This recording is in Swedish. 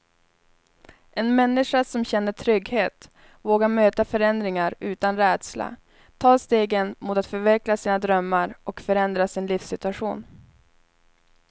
En människa som känner trygghet vågar möta förändringar utan rädsla, ta stegen mot att förverkliga sina drömmar och förändra sin livssituation.